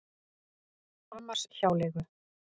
Hamarshjáleigu